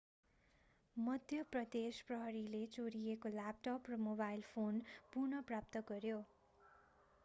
मध्य प्रदेश प्रहरीले चोरिएको ल्यापटप र मोबाइल फोन पुन: प्राप्त गर्‍यो।